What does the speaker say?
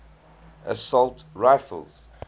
assault rifles